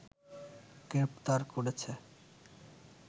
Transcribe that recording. গ্রেফতার করেছে